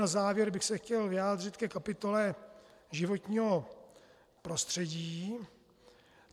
Na závěr bych se chtěl vyjádřit ke kapitole životního prostředí.